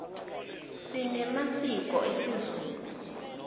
sinemasiko esizulu